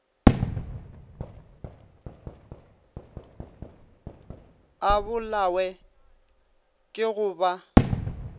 a bolawe ke go ba